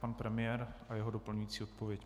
Pan premiér a jeho doplňující odpověď.